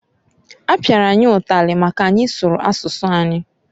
Apiara anyị ụtalị maka n'anyị sụrụ asụsụ anyị.